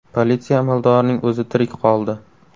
Politsiya amaldorining o‘zi tirik qoldi.